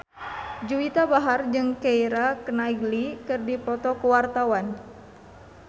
Juwita Bahar jeung Keira Knightley keur dipoto ku wartawan